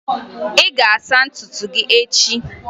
Ị ga-asa ntutu gị echi!